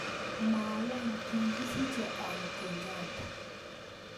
Mwawon kikisiche au Kenyatta